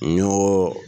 N y'o